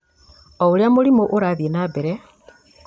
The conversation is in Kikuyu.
o ũrĩa mũrimũ urathiĩ na mbere,